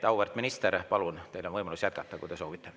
Auväärt minister, palun, teil on võimalus jätkata, kui te soovite.